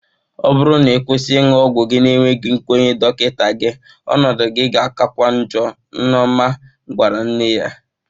Ọ bụrụ na ị kwụsị ịṅụ ọgwụ na-enweghị nkwenye dọkịta gị, ọnọdụ gị ga-akakwa ọọjọ, Nneoma gwara nne ya.